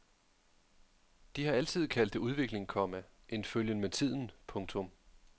De har altid kaldt det udvikling, komma en følgen med tiden. punktum